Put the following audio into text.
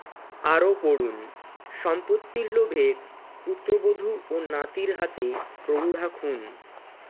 আরও পড়ুন সম্পত্তির লোভে পুত্রবধূ ও নাতির হাতে প্রৌঢ়া খুন